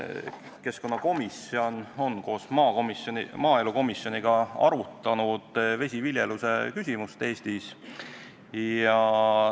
Keskkonnakomisjon on koos maaelukomisjoniga arutanud Eestis vesiviljelemisega tegelemise küsimust.